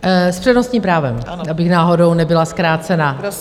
S přednostním právem, abych náhodou nebyla zkrácena.